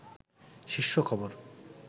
শীর্ষ খবর